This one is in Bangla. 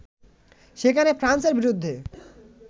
সেখানে ফ্রান্সের বিরুদ্ধে